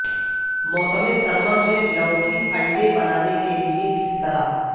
موسم سرما میں لوکی انڈے بنانے کے لئے کس طرح